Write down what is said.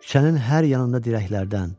Küçənin hər yanında dirəklərdən,